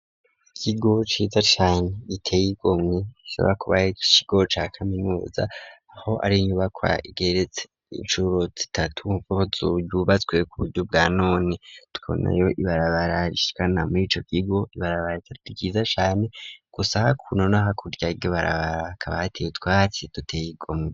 Ikigo ciza cane giteye igomwe isaba kubay kigo ca kaminuza aho ari nyubakwa igeretse incuro zitatu ko zuyubatswe ku buryo bwa none twonayo ibarabaraskana murico gigo ibarabar ryiza chane gusa hakuno no hakuryage barabara kabatiwe twaci duteye igomwe.